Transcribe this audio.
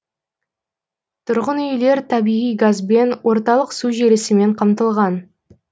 тұрғынүйлер табиғи газбен орталық су желісімен қамтылған